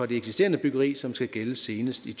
det eksisterende byggeri som skal gælde senest i